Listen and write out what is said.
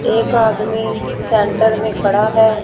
एक आदमी सेंटर में खड़ा है।